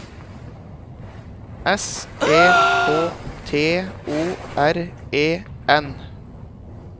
S E K T O R E N